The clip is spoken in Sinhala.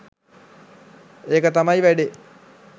ඒක තමයි වැඩේ.